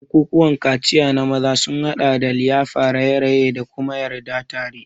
Bukukuwan kaciya na maza sun haɗa da liyafa, raye-raye, da kuma yarda tare.